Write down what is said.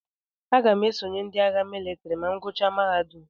Aga m esonye ndị agha mịlịtrị ma m gụchaa mahadum.